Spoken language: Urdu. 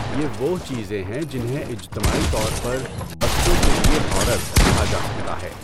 یہ وہ چیزیں ہیں جنہیں اجتماعی طور پر 'بچوں کے لئے ہارر' کہا جا سکتا ہے۔